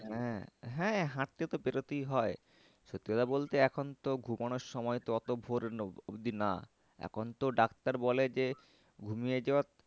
হ্যাঁ, হ্যাঁ হাঁটতে তো বেরোতেই হয় সত্যি কথা বলতে এখন তো ঘুমোনোর সময় তো অত ভোর অবধি না। এখন তো ডাক্তার বলে যে ঘুমিয়ে যাওয়া